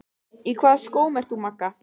Í hvaða skóm ert þú, Magga?